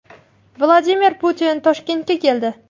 Vladimir Putin Toshkentga keldi.